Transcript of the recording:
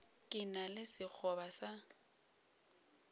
ke na le sekgoba sa